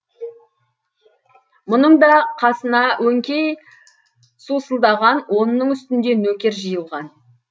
мұның да қасына өңкей сусылдаған онның үстінде нөкер жиылған